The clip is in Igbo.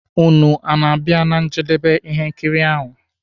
Ụnụ ọ na-abịa na njedebe ihe nkiri ahụ?